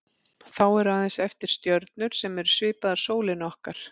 Þá eru aðeins eftir stjörnur sem eru svipaðar sólinni okkar.